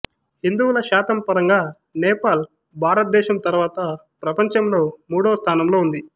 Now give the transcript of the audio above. హిందువుల శాతం పరంగా నేపాల్ భారతదేశం తర్వాత ప్రపంచంలో మూడవ స్థానంలో ఉంది